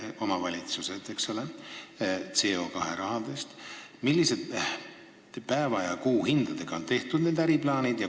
Minu küsimus on selline: milliste päeva- ja kuuhindadega on tehtud need äriplaanid?